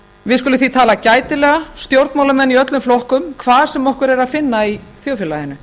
við skulum því tala gætilega stjórnmálamenn í öllum flokkum hvar sem okkur er að finna í þjóðfélaginu